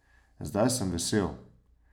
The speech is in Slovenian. Zdaj sem vesel.